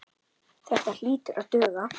Þetta hlýtur að duga.